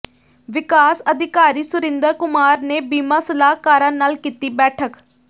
ਵਿਕਾਸ ਅਧਿਕਾਰੀ ਸੁਰਿੰਦਰ ਕੁਮਾਰ ਨੇ ਬੀਮਾ ਸਲਾਹਕਾਰਾਂ ਨਾਲ ਕੀਤੀ ਬੈਠਕ